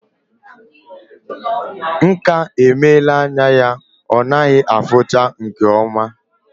Nka emela anya ya ọ naghị afuchazi nke oma